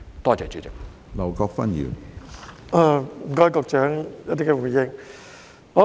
多謝局長就主體質詢所作的回應。